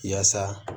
Yaasa